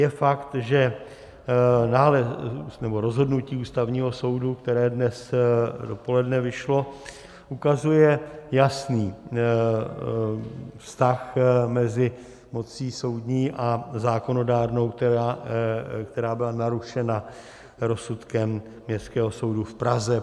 Je fakt, že rozhodnutí Ústavního soudu, které dnes dopoledne vyšlo, ukazuje jasný vztah mezi mocí soudní a zákonodárnou, která byla narušena rozsudkem Městského soudu v Praze.